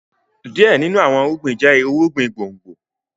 Some crops are root crops